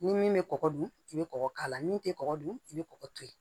Ni min bɛ kɔgɔ dun i bɛ kɔgɔ k'a la min tɛ kɔgɔ dun i bɛ kɔgɔ to yen